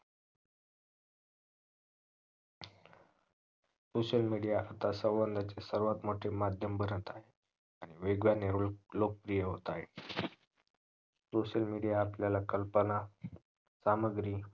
social media आता संवादाचे सर्वात मोठे माध्यम बनत आहे आणि वेगवानाने लोकप्रिय होत आहे social media आपल्याला कल्पना सामग्री